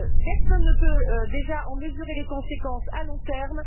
Personne ne peut déjà en mesurer les conséquences à long terme.